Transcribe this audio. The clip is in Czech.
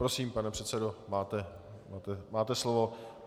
Prosím, pane předsedo, máte slovo.